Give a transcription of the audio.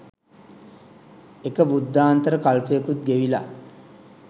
එක බුද්ධාන්තර කල්පයකුත් ගෙවිලා